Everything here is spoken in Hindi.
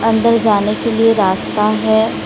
अंदर जाने के लिए रास्ता हैं।